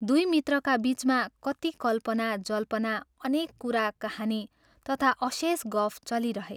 दुइ मित्रका बीचमा कति कल्पना जल्पना अनेक कुरा कहानी तथा अशेष गफ चलिरहे।